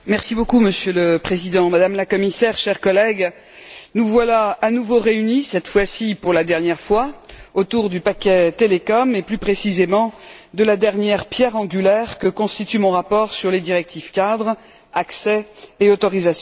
Monsieur le Président, Madame la Commissaire, chers collègues, nous voilà à nouveau réunis, cette fois ci pour la dernière fois, autour du paquet télécoms et plus précisément de la dernière pierre angulaire que constitue mon rapport sur les directives cadre, accès et autorisation.